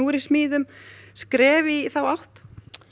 er í smíðum skref í þá átt